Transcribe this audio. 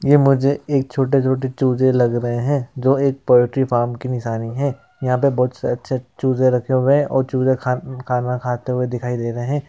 ये मुझे एक छोटे-छोटे चूजे लग रहे हैं जो एक पोएट्री फार्म की निशानी है| यहाँ पे बहोत से अच्छे चूजे रखे हुए हैं और चूजे खा-खाना खाते हुए दिखाई दे रहे हैं।